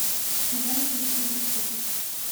катание на квадроциклах